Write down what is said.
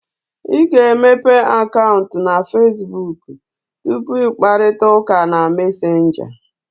Ị ga-emepe akaụntụ na Fesbuk tupu ị kparịta ụka na Mesenga